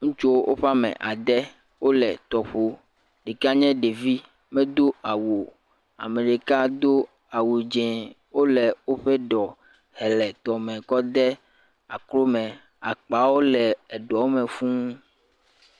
Ŋutsuwo o ƒe ame ade, o le tɔƒo, ɖeka nye ɖevi me do awuo, ameɖeka do awu dzeŋ, o le o ƒe ɖɔ he le tɔ me kɔ de akoro me, akpawo le eɖɔ me fū.